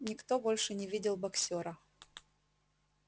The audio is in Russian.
никто больше не видел боксёра